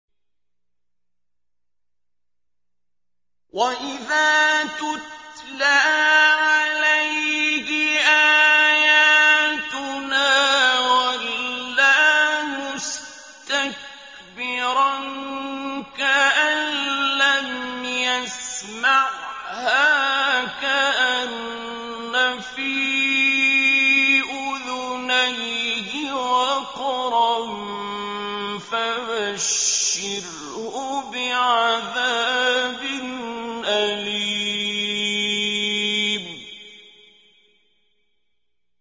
وَإِذَا تُتْلَىٰ عَلَيْهِ آيَاتُنَا وَلَّىٰ مُسْتَكْبِرًا كَأَن لَّمْ يَسْمَعْهَا كَأَنَّ فِي أُذُنَيْهِ وَقْرًا ۖ فَبَشِّرْهُ بِعَذَابٍ أَلِيمٍ